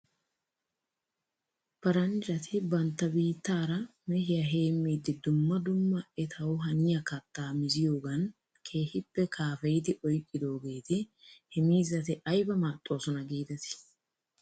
Paranjjati bantta biittaara mehiyaa heemmiiddi dumma dumma etaw haniyaa kattaa miziyoogan keehippe kaafeyidi oyqqidoogeeti he miizzati ayba maaxxoosina giidetii ?